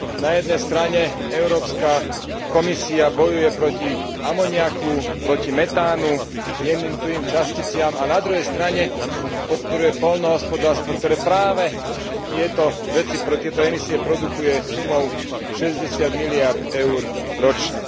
Na jednej strane Európska komisia bojuje proti amoniaku, proti metánu, jemným, tuhým časticiam a na druhej strane podporuje poľnohospodárstvo, ktoré práve tieto emisie produkuje, sumou 60 miliárd Eur ročne.